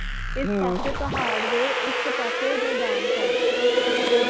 ਪਾਸੇ ਪਹਾੜ ਦੇ ਇਕ ਪਾਸੇ ਮੈਦਾਨ ਸਨ ਜਦੋ